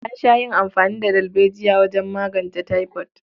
An sha yin amfani da dalbejiya wajen magance taifod.